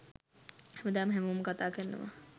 හැමදාම හැමෝම කතා කරනවා.